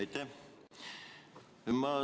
Aitäh!